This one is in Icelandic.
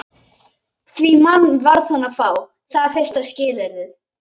Því mann varð hún að fá, það er fyrsta skilyrðið.